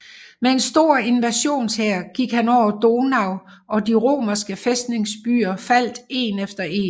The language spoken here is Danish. Med en stor invasionshær gik han over Donau og de romerske fæstningsbyer faldt én efter én